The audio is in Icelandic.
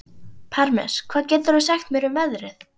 Parmes, hvað geturðu sagt mér um veðrið?